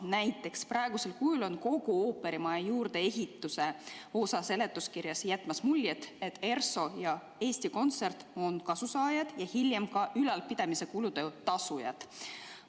Näiteks, praegusel kujul on kogu ooperimaja juurdeehituse osa seletuskirjas jätmas muljet, et ERSO ja Eesti Kontsert on kasusaajad ja hiljem ka ülalpidamiskulude tasujad.